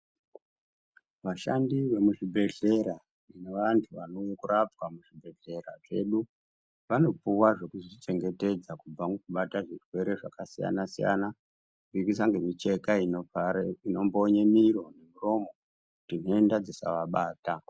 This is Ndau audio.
Vashandi vemuzvibhehlera nevantu vanorapa muzvibhehlera zvedu vanopuwa zvekuzvichengetedza kubva mukubata zvirwere zvakasiyana siyana nemicheka inombonye miro muromo kuti tenda dzisavabata.